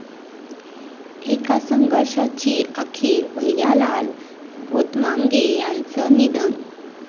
एका संघर्षाची अखेर, भैयालाल भोतमांगे यांचं निधन